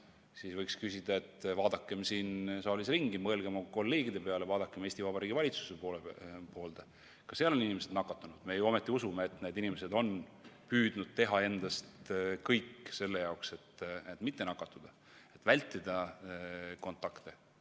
Siis võiks öelda, et vaadakem siin saalis ringi, mõelgem oma kolleegide peale, vaadakem Eesti Vabariigi valitsuse poole – ka seal on inimesed nakatunud, aga me ju ometi usume, et need inimesed on püüdnud teha kõik selle jaoks, et mitte nakatuda, vältida kontakte.